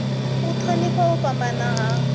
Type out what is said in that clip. u thonifha u fhambana ha